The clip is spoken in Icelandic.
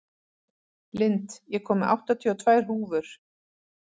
Lind, ég kom með áttatíu og tvær húfur!